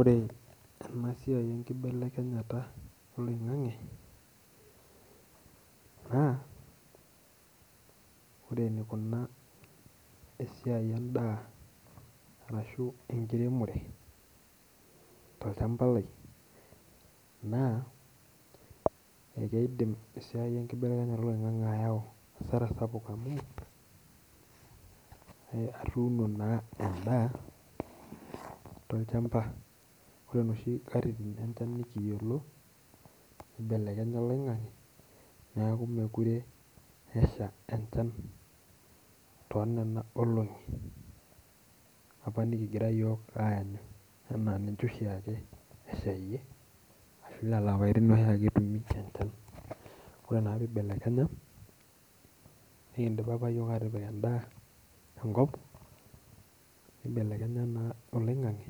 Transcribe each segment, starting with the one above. Ore enaa siai enkibelekenyata oloing'ang'e, naa ore eneikuna esiai edaa arashu enkiremore tolchamba lai naa ekeidim esiai enkibelekenyata oloing'ang'e ayau hasara sapuk amuu atuno naa edaa tolchamba. Ore noshi katitin enchan nikiyiolo nibelekenya oloing'ang'e neeku mokire esha too nena olong'i apa nikigira iyiok anyuu anaa ninche eshayie arashu lelo apaitin oshiake etumi enchan. Ore naa peibelekenya nikidipa apa iyiok atipik edaa enkop nibelekenya naa oloing'ang'e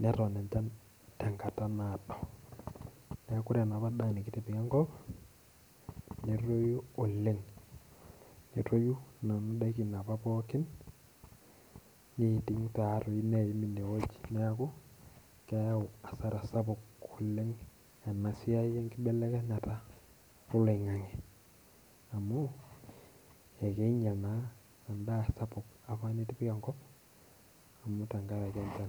neton enchan tenkaataa naado. Neeku ore naapa daa nikitipika enkop neroyo oleng'. Netoyu nena daikin apa pookin neiting' taadoii neim ineweji neeku, keyau hasara sapuk ena siai enkibelekenyata oloing'ang'e amuu eikenyal naa edaa sapuk apa nitipika enkop amu tenkaraki enchan.